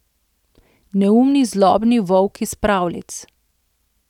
Neumni zlobni volk iz pravljic.